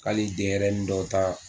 Hali dɲɛrɛnin dɔw ta